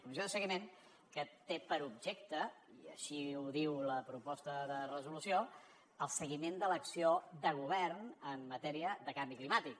comissió de seguiment que té per objecte i així ho diu la proposta de resolució el seguiment de l’acció de govern en matèria de canvi climàtic